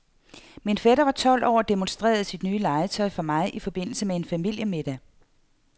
Min fætter var tolv år og demonstrerede sit nye legetøj for mig i forbindelse med en familiemiddag.